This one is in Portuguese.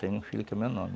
Tem um filho que é meu nome.